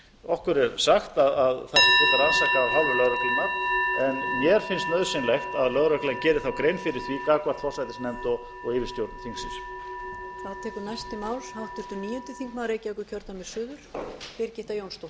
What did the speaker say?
okkur er sagt að það sé fullrannsakað af hálfu lögreglunnar en mér finnst nauðsynlegt að lögreglan geri þá grein fyrir því gagnvart forsætisnefnd og yfirstjórn þingsins